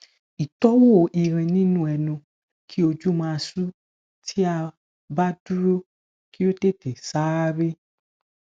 itowo irin ninu enu ki oju ma su ti a ba duro ki o tete saare